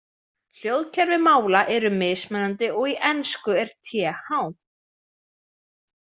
Hljóðkerfi mála eru mismunandi og í ensku er th.